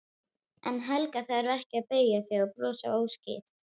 En Helga þarf ekki að beygja sig og brosa óstyrk.